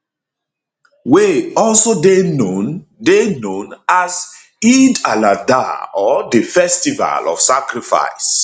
wey also dey known dey known as eid aladha or di festival of sacrifice